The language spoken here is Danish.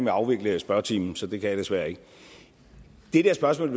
at afvikle spørgetimen så det kan jeg desværre ikke det spørgsmål